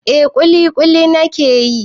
Eh ƙuliƙuli na ke yi.